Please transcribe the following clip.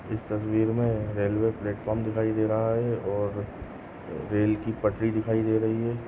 इस तस्वीर मे रेल्वे प्लेटफॉर्म दिखाई दे रहा है और रेल की पटरी दिखाई दे रही है।